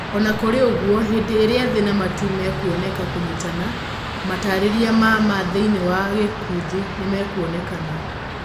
Ona kũrĩ ũguo, hindĩ ĩrĩa thĩ na matu mekuoneka kũnyitana, matarĩria ma ma thĩiniĩ wa gũkũthĩ nĩmekuonekana.